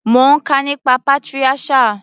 Mo ń kà nípa patriarchal.